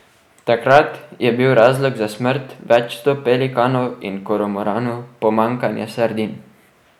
Takrat je bil razlog za smrt več sto pelikanov in kormoranov pomanjkanje sardin.